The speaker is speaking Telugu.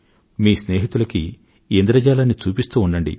మీ స్నేహితులకు ఇంద్రజాలాన్ని చూపిస్తూ ఉండండి